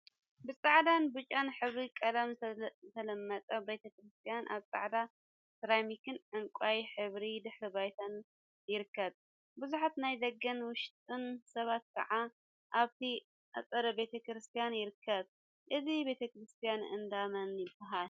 ብፃዕዳን ብጫን ሕብሪ ቀለም ዝተለመፀ ቤተ ክርስትያን አብ ፃዕዳ ሰራሚክን ዕንቋይ ሕብሪ ድሕረ ባይታን ይርከብ፡፡ ቡዙሓት ናይ ደገን ወሽጢን ሰባት ከዓ አብቲ አፀደ ቤተ ክርስትያን ይርከቡ፡፡ እዚ ቤተ ክርስትያን እንዳ መን ይበሃል?